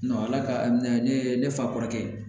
ala ka ne fa kɔrɔkɛ ye